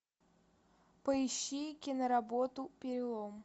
поищи киноработу перелом